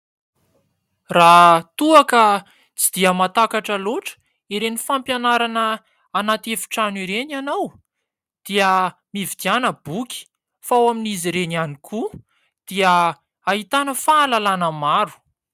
Raha toa ka tsy dia mahatakatra loatra ireny fampianarana anaty efitrano ireny ianao dia mividiana boky fa ao amin'izy ireny ihany koa dia ahitana fahalalana maro.